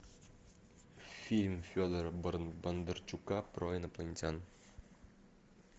фильм федора бондарчука про инопланетян